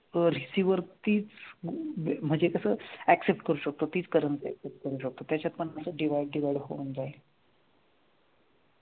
अं receiver वरतीच म्हनजे कस accept करू शकतो तीच currency accept करू शकतो त्याच्यात पन असं divide होऊन जाईल